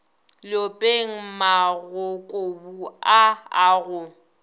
leopeng magokobu a a go